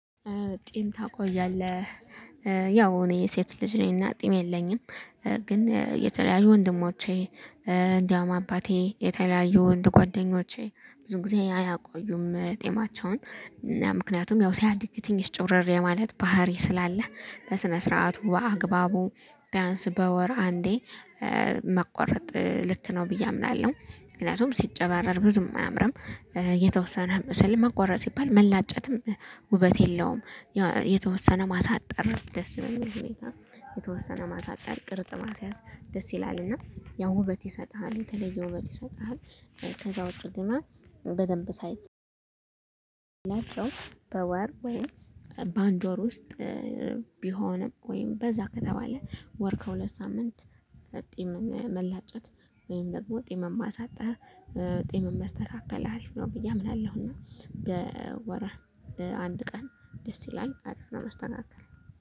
ጢም ታቆያለህ? ያው እኔ ሴት ልጅ ነኝና ጢም የለኝም። ግን የተለያዩ ወንድሞቼ እንዲያውም አባቴ የተለያዩ ወንድ ጓደኞቼ ብዙ ጊዜ አያቆዩም ጤማቸውን። ምክንያቱም ያው ሲያዲግ ትንሽ ጭብረርር የማለት ባህሪ ስላለ በስነ ስርዓቱ በአግባቡ ቢያንስ በወር አንዴ መቆረጥ ልክ ነው ብዬ አምናለሁ። ምክንያቱም ሲጨባረር ብዙም አያምርም። የተወሰነ መሰለህ መቆረጥ ሲባል መላጨትም ውበት የለውም። የተወሰነ ማሳጠር ደስ ይለኛል ሁኔታ የተወሰነ ማሳጠር ቅርጽ ማስያዝ ደስ ይላልና ያው ውበት ይሰጥሃል የተለየ ውበት ይሰጥሃል። ከዛ ውጪ ግና በደንብ ናቸው በወር ወይም በአንድ ወር ውስጥ ቢሆንም ወይም በዛ ከተባለ ወር ከሁለት ሳምንት ጤም መላጨት ወይም ደግሞ ጤም ማሳጠር ጤም መስተካከል አሪፍ ነው። ብዬ አምናለሁ እና በወር አንድ ቀን ደስ ይላል አሪፍ ነው መስተካከል።